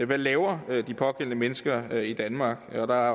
hvad laver de pågældende mennesker i danmark og der